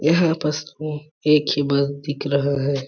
यहाँ बस में एक ही बल्ब दिख रहा है।